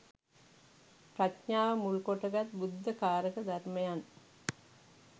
ප්‍රඥාව මුල්කොටගත් බුද්ධ කාරක ධර්මයන්